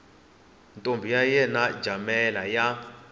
ntombi ya yena jamela ya